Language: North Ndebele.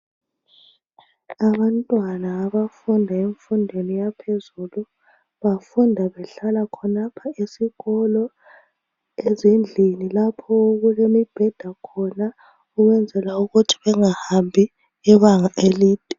Abantwana abafunda emfundweni yaphezulu bafunda behlala khonapha esikolo, ezindlini lapho okulemibheda khona, ukwenzela ukuthi bengahambi ibanga elide.